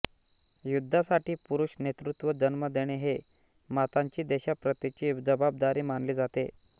युद्धासाठी पुरुष नेतृत्व जन्म देणे हे मातांची देशाप्रतीची जबाबदारी मानली जाते